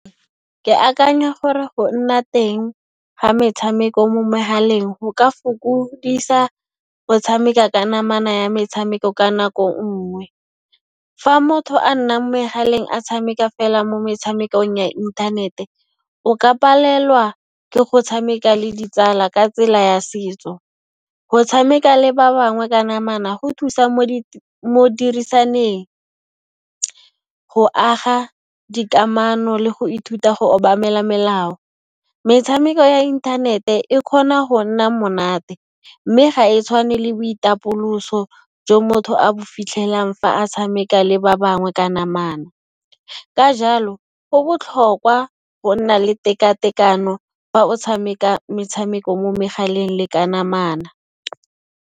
Ke akanya gore go nna teng ga metshameko mo mehaleng go ka fokodisa go tshameka ka namana ya metshameko ka nako nngwe. Fa motho a nna mo megaleng a tshameka fela mo metshamekong ya inthanete, o ka palelwa ke go tshameka le ditsala ka tsela ya setso. Go tshameka le ba bangwe ka namana go thusa mo dirisaneng, go aga dikamano le go ithuta go obamela melao. Metshameko ya inthanete e kgona go nna monate, mme ga e tshwane le boitapoloso jo motho a bo fitlhelang fa a tshameka le ba bangwe ka namana. Ka jalo, go botlhokwa go nna le teka-tekano fa o tshameka metshameko mo megaleng le ka namana.